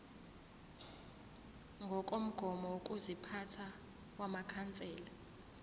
ngokomgomo wokuziphatha wamakhansela